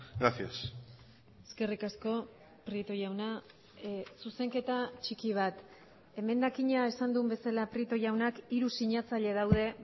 gracias eskerrik asko prieto jauna zuzenketa txiki bat emendakina esan duen bezala prieto jaunak hiru sinatzaile daude